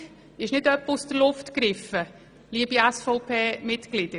Unsere Forderung ist nicht etwa aus der Luft gegriffen, liebe SVP-Mitglieder.